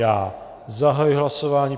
Já zahajuji hlasování.